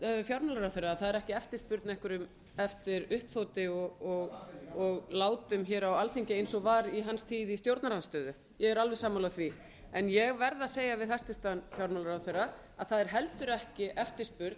fjármálaráðherra að það er ekki eftirspurn eftir uppþoti og látum á alþingi eins og var í hans tíð í stjórnarandstöðu ég er alveg sammála því en ég verð að segja við hæstvirtan fjármálaráðherra að það er heldur ekki eftirspurn